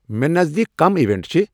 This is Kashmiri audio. مےٚ نزدیٖک کۄم ایونٹ چھِ